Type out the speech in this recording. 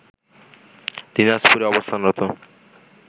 দিনাজপুরে অবস্থানরত